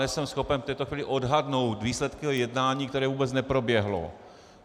Nejsem schopen v této chvíli odhadnout výsledky jednání, které vůbec neproběhlo.